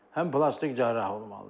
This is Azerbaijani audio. həm plastik cərrah olmalıdır.